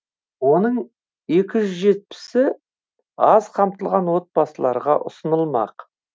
оның екі жүз жетпісі аз қамтылған отбасыларға ұсынылмақ